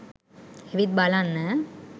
ඇවිත් බලන්න